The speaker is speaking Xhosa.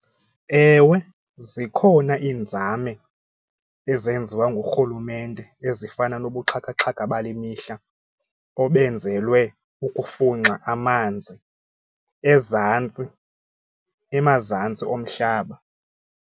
Ewe, zikhona iinzame ezenziwa ngurhulumente ezifana nobuxhakaxhaka bale mihla obenzelwe ukufunxa amanzi ezantsi emazantsi omhlaba.